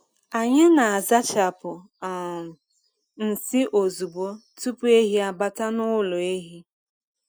Anyị na-azachapụ um nsị ozugbo tupu ehi abata n’ụlọ ehi.